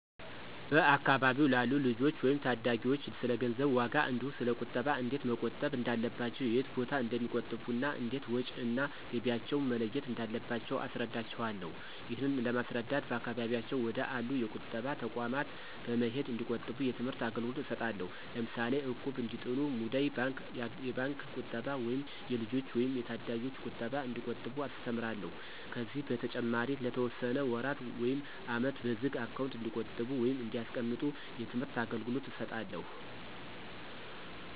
በአካባቢው ላሉ ልጆች ወይም ታዳጊዎች ስለገንዘብ ዋጋ እንዲሁ ስለ ቁጠባ እንዴት መቆጠብ እንዳለባቸው የት ቦታ እንደሚቆጥቡ እና እንዴት ወጭ እና ገቢያቸውን መለየት እንዳለባቸው አስረዳቸውአለሁ። ይህንን ለማስረዳት በአካባቢያቸው ወደ አሉ የቁጠባ ተቋማት በመሄድ እንዲቆጥቡ የትምህርት አገልግሎት እሰጣለሁ። ለምሳሌ እቁብ እንዲጥሉ፣ ሙዳይ ባንክ፣ የባንክ ቁጠባ ወይም የልጆች ወይም የታዳጊዎች ቁጠባ እንዲቆጥቡ አስተምራለሁ። ከዚህ በተጨማሪ ለተወሰነ ወራት ውይም አመት በዝግ አካውንት እንዲቆጥቡ ወይም እንዲያስቀምጡ የትምህርት አገልገሎት እሰጣለሁ።